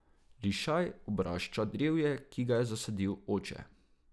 Lišaj obrašča drevje, ki ga je zasadil oče.